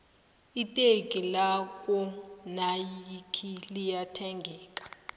iteki lakwo nayikhi liya thengeka